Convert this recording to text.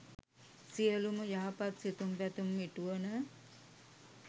සියලුම යහපත් සිතුම් පැතුම් ඉටුවන